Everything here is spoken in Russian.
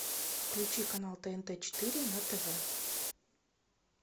включи канал тнт четыре на тв